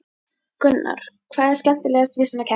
Gunnar: Hvað er skemmtilegast við svona keppni?